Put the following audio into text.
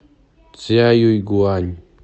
цзяюйгуань